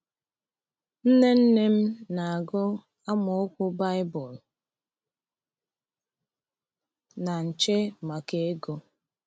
Nne nne m na-agụ amaokwu Baịbụl na nche maka ego.